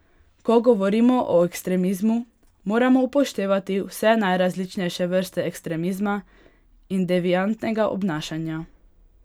Ko govorimo o ekstremizmu, moramo upoštevati vse najrazličnejše vrste ekstremizma in deviantnega obnašanja.